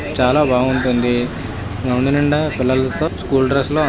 చాల బాగుంటుంది. గ్రౌండ్ నిండా పిల్లలతో ఎంతో స్కూల్ డ్రెస్సులో అందరూ హ్యాపీ గ ఉన్నారు.